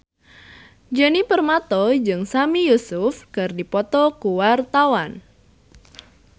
Djoni Permato jeung Sami Yusuf keur dipoto ku wartawan